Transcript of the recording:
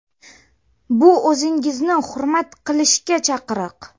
Bu o‘zingizni hurmat qilishga chaqiriq!